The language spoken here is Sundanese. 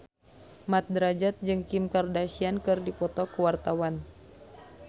Mat Drajat jeung Kim Kardashian keur dipoto ku wartawan